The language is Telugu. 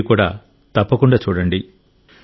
మీరు కూడా తప్పకుండా చూడండి